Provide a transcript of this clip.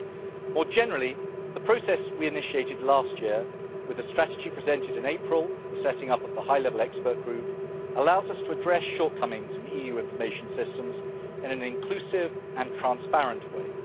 More generally the process we initiated last year with a strategy presented in April, the setting up of the high level expert group, allows us to address shortcomings in the EU information systems in an inclusive and transparent way.